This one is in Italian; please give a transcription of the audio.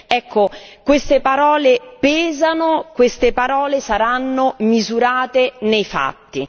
Ecco, queste parole pesano, queste parole saranno misurate nei fatti.